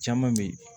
Caman be ye